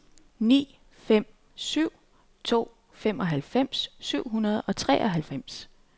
ni fem syv to femoghalvfjerds syv hundrede og treoghalvfems